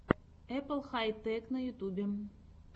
эппл хай тэк на ютьюбе